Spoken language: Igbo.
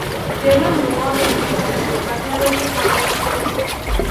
Kedu ndụmọdụ Emeka nyere banyere ịkwado ndị ọzọ?